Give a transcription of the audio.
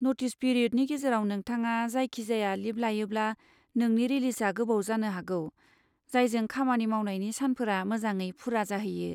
Notice पिरिय'दनि गेजेराव नोंथाङा जायखिजाया लिब लायोब्ला, नोंनि रिलिजआ गोबाव जानो हागौ, जायजों खामानि मावनायनि सानफोरा मोजाङै फुरा जाहैयो।